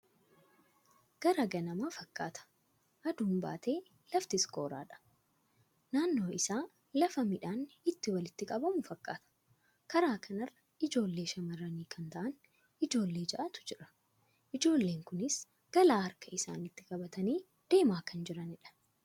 Gara ganama fakkata, aduun batee laftis qoraadha. Nannoon isaa, lafa miidhanni itti walitti qabamu fakkata. Karaa kanarra ijoolle shamarranii kan ta'aan, ijoolle ja'aatu jira. Ijoollen kunis galaa harka isaanitti qabatani deema kan jiraanidha.